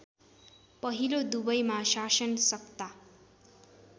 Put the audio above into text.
पहिलो दुवैमा शासनसत्ता